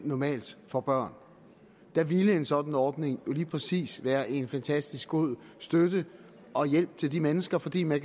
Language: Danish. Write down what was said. normalt får børn der vil en sådan ordning lige præcis være en fantastisk god støtte og hjælp til de mennesker fordi man